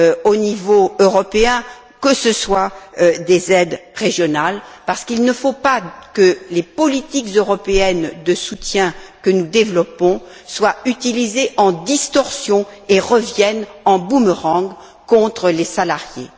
au niveau européen, que ce soit des aides régionales, parce qu'il ne faut pas que les politiques européennes de soutien que nous développons soient utilisées de manière déséquilibrée et reviennent en boomerang contre les salariés.